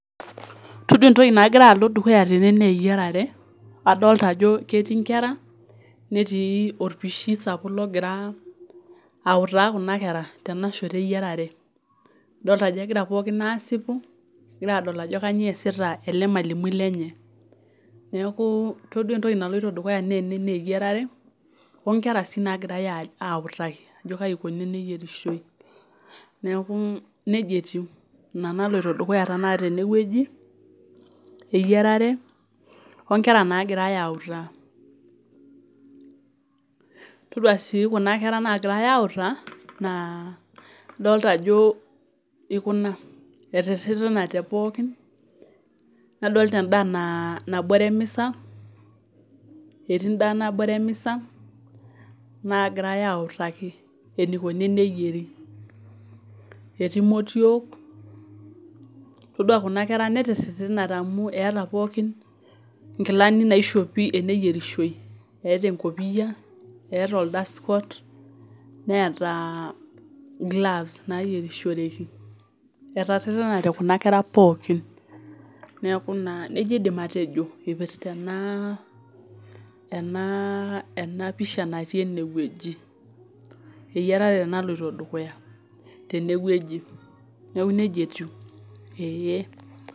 Todua entoki nagira alo dukuya tene naa eyiarare , adolta ajo ketii inkera , netii orpishi sapuk logira autaa kuna kera tenashoto eyiarare, idolta ajo egira pookin aasipu , egira adol ajo kainyioo easita ele mwalimui lenye. Niaku todua entoki naloito dukuya tene naa eyiarare onkera sii nagirae autaki ajo kai ikoni teneyierishoi. Neku nejia etiu ina naloito dukuya tenakata tenewueji , eyiarare onkera nagirae autaa . Todua sii kuna kera nagirae autaa naa idolta ajo etererenate pookin nadolita endaa naa nabore emisa , etii endaa nabore emisa nagirae autaki enikoni teneyieri . Etii motiook, todua kuna kera netererenate amu eeta pookin nkilani naishopi teneyierishoi eeta enkopia , eeta oldust coat , neeta gloves nayierishoreki . Etererenate kuna kera pookin , niaku naa , nejia indim atejo ipirta ena enaa ena enapisha natii ene wueji , eyierare naloito dukuya tenewueji neeku nejia etiu eee.